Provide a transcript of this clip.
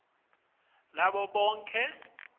nabo bonkhe lababambe